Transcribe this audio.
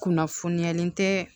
Kunnafoniyalen tɛ